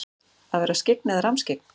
Að vera skyggn og rammskyggn?